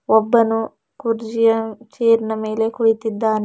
ಒಬ್ಬನು ಕುರ್ಜಿಯ ಚೇರ್ನ ಮೇಲೆ ಕುಳಿತಿದ್ದಾನೆ.